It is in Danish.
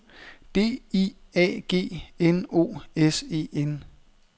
D I A G N O S E N